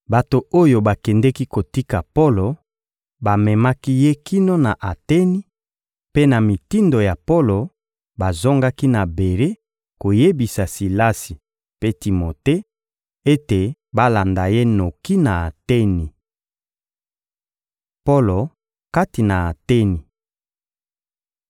Bato oyo bakendeki kotika Polo bamemaki ye kino na Ateni; mpe na mitindo ya Polo, bazongaki na Bere koyebisa Silasi mpe Timote ete balanda ye noki na Ateni. Polo kati na Ateni